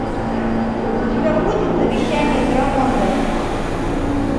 у тебя будет завещание драмонда